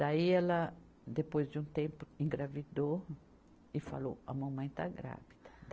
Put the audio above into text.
Daí ela, depois de um tempo, engravidou e falou, a mamãe está grávida.